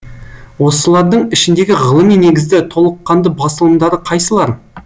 осылардың ішіндегі ғылыми негізді толыққанды басылымдары қайсылар